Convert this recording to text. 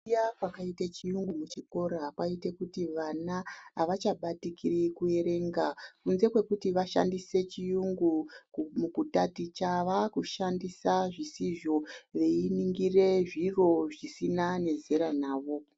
Kuuya kwakaita chiyungu muchikora kwaite kuti vana havachabatikiri kuerenga kunze kwekuti vashandise chiyungu mukutaticha vava kushandisa zvisivo veiningira zviro zvisiena zera navo.